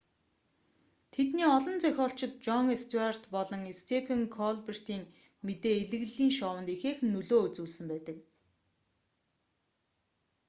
тэдний олон зохиолчид жон стьюарт болон степен колбертын мэдээ элэглэлийн шоунд ихээхэн нөлөө үзүүлсэн байдаг